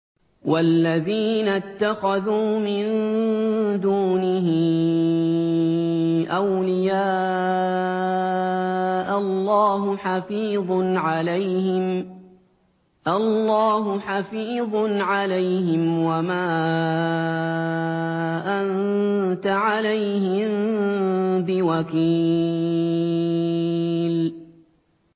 وَالَّذِينَ اتَّخَذُوا مِن دُونِهِ أَوْلِيَاءَ اللَّهُ حَفِيظٌ عَلَيْهِمْ وَمَا أَنتَ عَلَيْهِم بِوَكِيلٍ